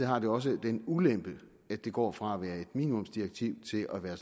har det også den ulempe at det går fra at være et minimumsdirektiv til at være